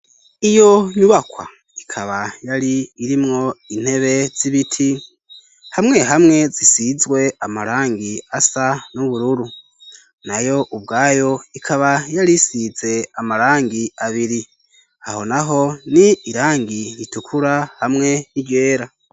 Iyo nyubakwa ikaba yaririmwo intebe z'ibiti hamwe hamwe zisizwe amarangi asa n'ubururu nauo ubwayo ikaba yarisize amarangi abiri aho naho ni irangi ritukura hamwe n'iryera.